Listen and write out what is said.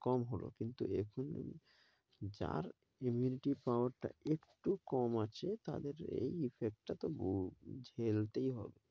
কম হলো। কিন্তু এখন যার immunity power টা একটু কম আছে তাদের এই effect টা তবু ঝেলতেই হবে।